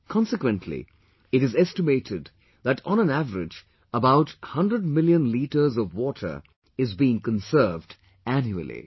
Consequently, it is estimated that, on an average about 100 million litres of water is being conserved annually